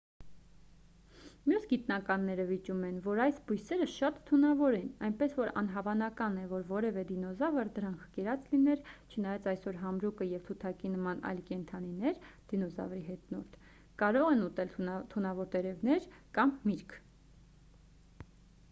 մյուս գիտնականները վիճում են որ այս բույսերը շատ թունավոր են այնպես որ անհավանական է որ որևէ դինոզավր դրանք կերած լիներ չնայած այսօր համրուկը և թութակի նման այլ կենդանիներ դինոզավրի հետնորդ կարող են ուտել թունավոր տերևներ կամ միրգ։